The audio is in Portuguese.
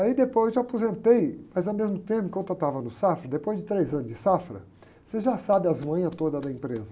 Aí depois eu aposentei, mas ao mesmo tempo enquanto eu estava no Safra, depois de três anos de Safra, você já sabe as manhas todas da empresa.